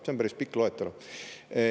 See on päris pikk loetelu.